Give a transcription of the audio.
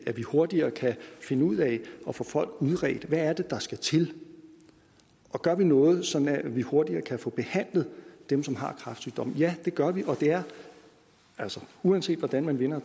at vi hurtigere kan finde ud af at få folk udredt og hvad er det der skal til og gør vi noget sådan at vi hurtigere kan få behandlet dem som har kræftsygdomme ja det gør vi og det er altså uanset hvordan man vender